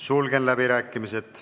Sulgen läbirääkimised.